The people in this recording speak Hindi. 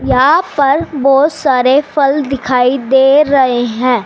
यहां पर बहुत सारे फल दिखाई दे रहे हैं।